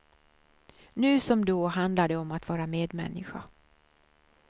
Nu som då handlar det om att vara medmänniska.